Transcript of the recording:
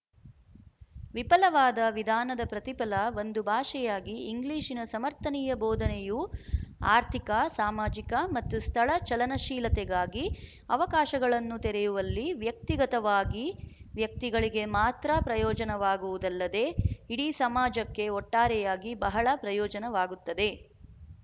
ವಿಫಲವಾದ ವಿಧಾನದ ಪ್ರತಿಫಲ ಒಂದು ಭಾಷೆಯಾಗಿ ಇಂಗ್ಲಿಶಿನ ಸಮರ್ಥನೀಯ ಬೋಧನೆಯು ಆರ್ಥಿಕ ಸಾಮಾಜಿಕ ಮತ್ತು ಸ್ಥಳ ಚಲನಶೀಲತೆಗಾಗಿ ಅವಕಾಶಗಳನ್ನು ತೆರೆಯುವಲ್ಲಿ ವ್ಯಕ್ತಿಗತವಾಗಿ ವ್ಯಕ್ತಿಗಳಿಗೆ ಮಾತ್ರ ಪ್ರಯೋಜನವಾಗುವುದಲ್ಲದೆ ಇಡಿ ಸಮಾಜಕ್ಕೆ ಒಟ್ಟಾರೆಯಾಗಿ ಬಹಳ ಪ್ರಯೋಜನವಾಗುತ್ತದೆ